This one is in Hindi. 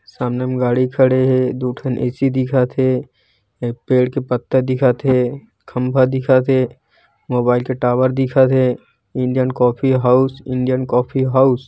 सामने गाड़ी खड़े हे दु ठन ए_सी दिखत हे एक पेड़ के पत्ता दिखत हे खम्भा दिखत हे मोबाइल के टावर दिखत हे Indian coffee house Indian coffee house--